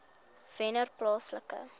wennerplaaslike